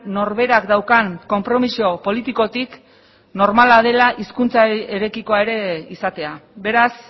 norberak daukan konpromiso politikotik normala dela hizkuntzarekikoa ere izatea beraz